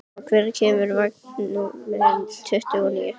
Normann, hvenær kemur vagn númer tuttugu og níu?